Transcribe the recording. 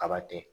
Kaba tɛ